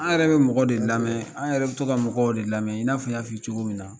An yɛrɛ bɛ mɔgɔw de lamɛn an yɛrɛ bɛ to ka mɔgɔw de lamɛn in n'a fɔ n y'a f'i ye cogo min na